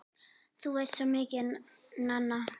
Þú veist svo mikið, Nanna!